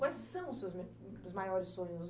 Quais são os seus maiores sonhos?